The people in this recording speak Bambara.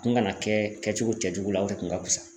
A kun kana kɛ kɛcogo cɛjugu la o de kun ka pusa